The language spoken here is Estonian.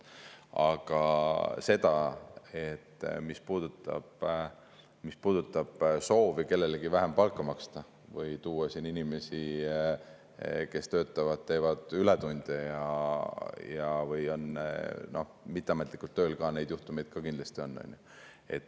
Aga mis puudutab soovi kellelegi vähem palka maksta või tuua siia inimesi, kes töötavad, teevad ületunde või on mitteametlikult tööl, siis ka neid juhtumeid kindlasti on.